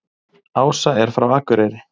Ása er frá Akureyri.